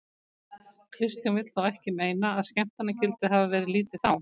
Kristján vill þó ekki meina að skemmtanagildið hafið verið lítið þá.